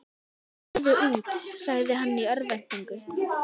Farðu út, sagði hann í örvæntingu.